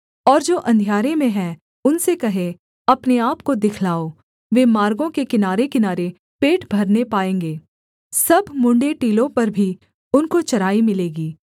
और जो अंधियारे में हैं उनसे कहे अपने आपको दिखलाओ वे मार्गों के किनारेकिनारे पेट भरने पाएँगे सब मुँण्ड़े टीलों पर भी उनको चराई मिलेगी